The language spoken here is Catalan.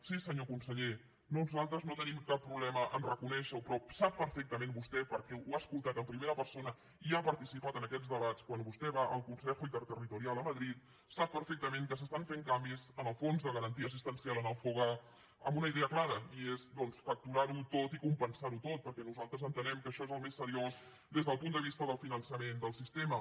sí senyor conseller nosaltres no tenim cap problema a reconèixer ho però sap perfectament vostè perquè ho ha escoltat en primera persona i ha participat en aquests debats quan vostè va al consejo interterritoriala madrid sap perfectament que s’estan fent canvis en el fons de garantia assistencial en el foga amb una idea clara i és facturar ho tot i compensar ho tot perquè nosaltres entenem que això és el més seriós des del punt de vista del finançament del sistema